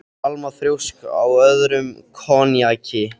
Alma þrjósk á öðrum í konjaki.